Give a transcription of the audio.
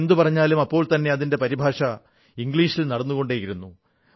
ഞാൻ എന്തു പറഞ്ഞാലും അപ്പോൾത്തന്നെ അതിന്റെ പരിഭാഷ ഇംഗ്ലീഷിൽ നടന്നുകൊണ്ടിരുന്നു